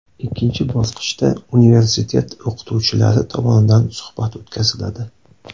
Ikkinchi bosqichda universitet o‘qituvchilari tomonidan suhbat o‘tkaziladi.